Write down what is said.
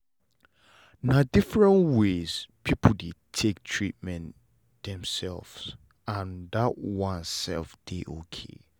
na different ways people dey take treatment themselves and that one sef dey ok